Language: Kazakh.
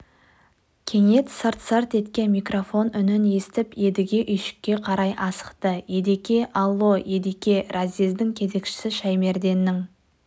кенет сырт-сырт еткен микрофон үнін естіп едіге үйшікке қарай асықты едеке алло едеке разъездің кезекшісі шаймерденнің